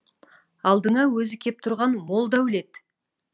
алдыңа өзі кеп тұрған мол дәулет